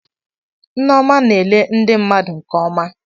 Nneoma na-ele ndi mmadu nke ọma.